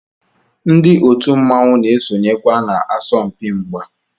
Ndi otu mmanwu na esonyekwa na asọmpi mgba.